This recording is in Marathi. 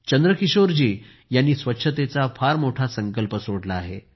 चंद्रकिशोरजी यांनी स्वच्छतेचा फार मोठा संकल्प सोडला आहे